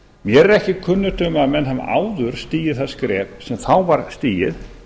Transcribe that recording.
mér er ekki kunnugt um að menn hafi áður stigið það skref sem var stigið